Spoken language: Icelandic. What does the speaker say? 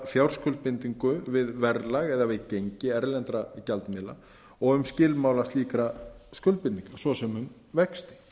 fjárskuldbindingu við verðlag eða við gengi erlendra gjaldmiðla og um skilmála slíkra skuldbindinga svo sem um vexti